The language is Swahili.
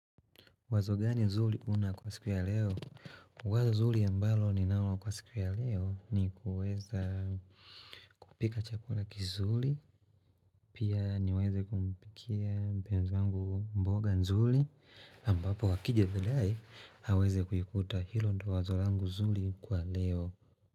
Wazo gani nzuri una kwa siku ya leo? Wazo zuri ambalo ninalo kwa siku ya leo ni kuweza kupika chakula kizuri, pia niweze kumpikia mpenzi wangu mboga nzuri, ambapo akija baadaye aweze kuikuta hilo ndilo wazo langu zuri kwa leo.